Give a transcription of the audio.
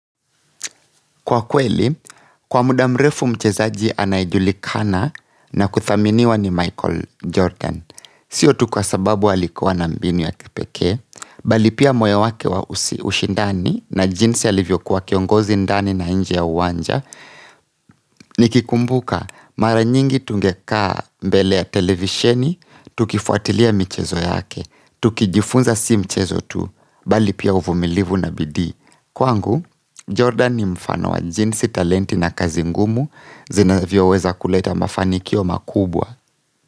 Kwa kweli, kwa muda mrefu mchezaji anayejulikana na kuthaminiwa ni Michael Jordan. Sio tu kwa sababu alikuwa na mbinu ya kipekee, bali pia moyo wake wa ushindani na jinsi alivyokuwa kiongozi ndani na nje ya uwanja, nikikumbuka mara nyingi tungekaa mbele ya televisheni, tukifuatilia michezo yake, tukijifunza si mchezo tu, bali pia uvumilivu na bidii. Kwangu, Jordan ni mfano wa jinsi talenti na kazi ngumu zinavyoweza kuleta mafanikio makubwa.